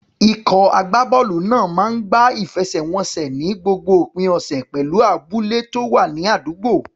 Ikọ̀ agbábọ́ọ̀lù náà máa ń gbá ìfẹsẹ̀wọnsẹ̀ ní gbogbo òpin ọ̀sẹ̀ pẹ̀lú àwọn abúlé tó wà ní àdúgbò.